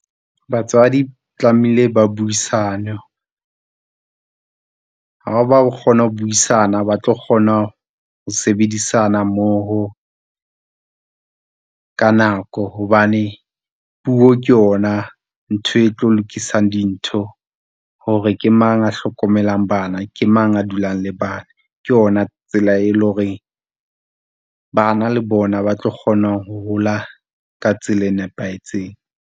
Batswadi tlamehile ba buisane, ha ba kgona ho buisana ba tlo kgona ho sebedisana mmoho, ka nako hobane puo ke yona ntho e tlo lokisang dintho hore ke mang a hlokomelang bana ke mang a dulang le bana. Ke yona tsela e le horeng bana le bona ba tlo kgona ho hola ka tsela e nepahetseng.